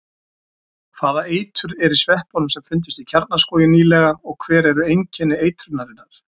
Hvaða eitur er í sveppunum sem fundust í Kjarnaskógi nýlega og hver eru einkenni eitrunarinnar?